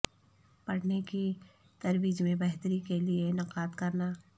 پڑھنے کی ترویج میں بہتری کے لئے انعقاد کرنا